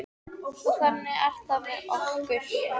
Og þannig er það með okkur.